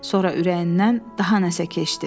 Sonra ürəyindən daha nəsə keçdi.